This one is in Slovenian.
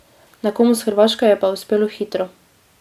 Nekomu s Hrvaške je pa uspelo hitro.